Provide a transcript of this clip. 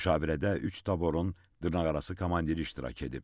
Müşavirədə üç taborun dırnaqarası komandiri iştirak edib.